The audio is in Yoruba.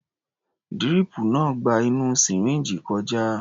Díríìpù náà ń gba inú sìríǹjì kọjá.